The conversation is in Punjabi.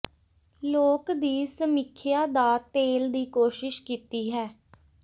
ਲੋਕ ਦੀ ਸਮੀਖਿਆ ਦਾ ਤੇਲ ਦੀ ਕੋਸ਼ਿਸ਼ ਕੀਤੀ ਹੈ